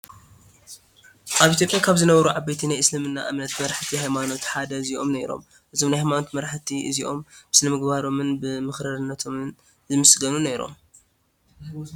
ኣብ ኢ/ያ ካብ ዝነበሩ ዓበይቲ ናይ እስልምና እምነት መራሕቲ ሃይማኖት ሓደ እዚኦም ነይሮም፡፡ እዞም ናይ ሃይማኖት መራሒ እዚኦም ብስነምግባሮምን ብምኽርራቶምን ዝምስገኑ ነይሮም፡፡